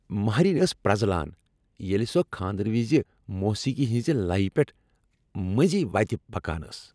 مہریٚنۍ ٲس پرزلان ییٚلہ سۄ کھاندرٕ وز موسیقی ہنزِ لیہ پیٹھ منزۍ وتہِ پکان ٲس۔